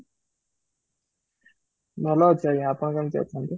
ଭଲ ଅଛି ଆଜ୍ଞା ଆପଣ କେମିତି ଅଛନ୍ତି?